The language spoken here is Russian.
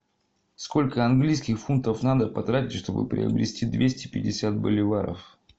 сколько английских фунтов надо потратить чтобы приобрести двести пятьдесят боливаров